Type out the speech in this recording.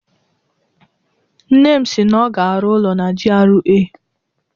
Nne m si na ọ ga-arụ ụlọ na GRA.